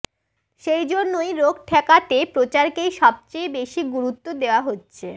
সেই জন্যই রোগ ঠেকাতে প্রচারকেই সবচেয়ে বেশি গুরুত্ব দেওয়া হচ্ছে